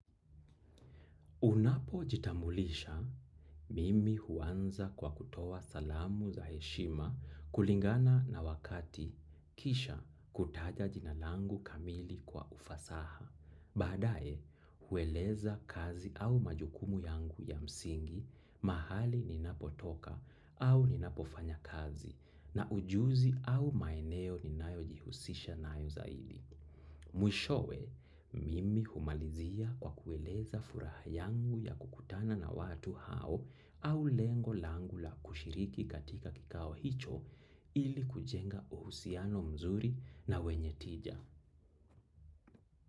Unapojitambulisha mimi huanza kwa kutoa salamu za heshima kulingana na wakati kisha kutaja jina langu kamili kwa ufasaha baadae, hueleza kazi au majukumu yangu ya msingi mahali ninapotoka au ninapofanya kazi na ujuzi au maeneo ninayo jihusisha nayo zaidi. Mwishowe mimi humalizia kwa kueleza furaha yangu yakukutana na watu hao au lengo langu la kushiriki katika kikao hicho ili kujenga uhusiano nzuri na wenye tija.